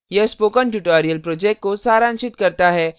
यह spoken tutorial project को सारांशित करता है